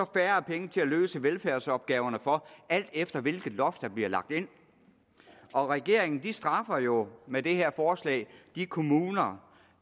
færre penge til at løse velfærdsopgaverne for alt efter hvilket loft der bliver lagt ind regeringen straffer jo med det her forslag de kommuner